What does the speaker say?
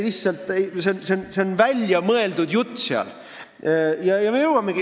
See on välja mõeldud jutt!